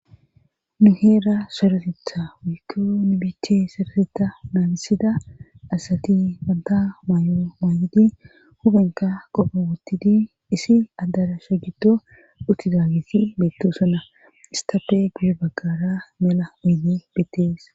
nu heera soretetha wiikko nibich sorasetha naalisida asati banta maay7o maayidi hubenka qopho wuttidi isi addara sha gido uttidaagisi beetto suna istafe gudi baggara mela uynni bittees